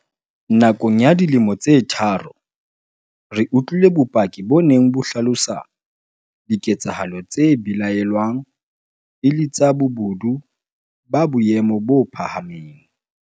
Nakong ya dilemo tse tharo, re utlwile bopaki bo neng bo hlalosa diketsa halo tse belaellwang e le tsa bobodu ba boemo bo phahameng.